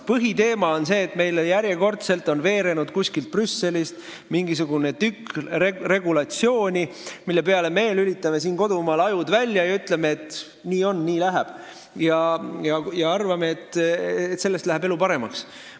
Põhiteema on see, et järjekordselt on meieni kuskilt Brüsselist veerenud mingisugune tükk regulatsiooni, mille peale me lülitame siin kodumaal ajud välja: ütleme, et nii on ja nii läheb, ning arvame, et selle peale läheb elu paremaks.